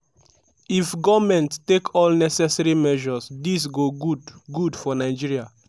"if goment take all necessary measures dis go good good for nigeria."